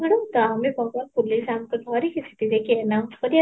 ତ ଆମେ ବ୍ରତବାନ police ଆମକୁ ଧରିକି ସେଠି ଯାଇକି announce କରିବାର